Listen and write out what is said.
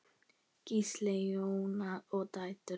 Gísli, Jóna og dætur.